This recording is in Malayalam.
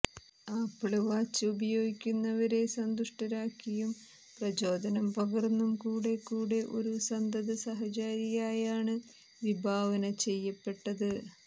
ആപ്പിള് വാച്ച് ഉപയോഗിക്കുന്നവരെ സന്തുഷ്ടരാക്കിയും പ്രചോദനം പകര്ന്നും കൂടെക്കൂടുന്ന ഒരു സന്തതസഹചാരിയായാണ് വിഭാവന ചെയ്യപ്പെട്ടത്